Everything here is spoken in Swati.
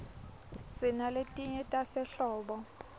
sinaletinye tasehlobo